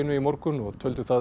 í morgun og töldu það